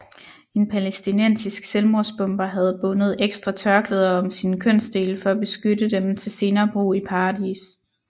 En palæstinensisk selvmordsbomber havde bundet ekstra tørklæder om sine kønsdele for at beskytte dem til senere brug i paradis